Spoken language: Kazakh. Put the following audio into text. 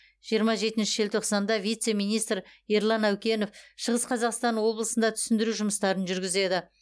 жиырма жетінші желтоқсанда вице министр ерлан әукенов шығыс қазақстан облысында түсіндіру жұмыстарын жүргізеді